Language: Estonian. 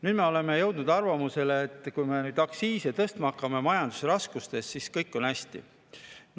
Nüüd me oleme jõudnud arvamusele, et kui me neid aktsiise tõstma hakkame majandusraskustes, siis on kõik hästi.